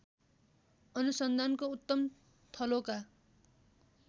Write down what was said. अनुसन्धानको उत्तम थलोका